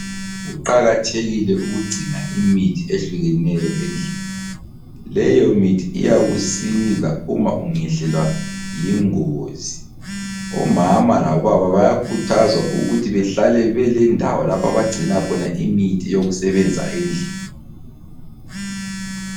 Kuqakathekile ukugcina imithi ehlukeneyo endlini, leyo mithi iyakusiza uma ungehlelwa yingozi. Omama labobaba bayakhuthazwa ukuthi behlale belendawo lapho abagcina khona imithi yokusebenzisa endlini.